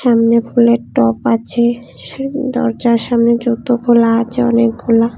সামনে ফুলের টব আছে সুন্দর দরজার সামনে জুতো খোলা আছে অনেকগুলা।